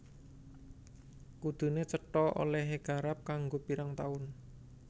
Kuduné cetha olèhé garap kanggo pirang taun